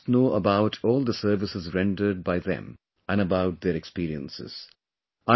The country must know about all the services rendered by them & about their experiences